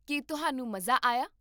ਕੀ ਤੁਹਾਨੂੰ ਮਜ਼ਾ ਆਇਆ?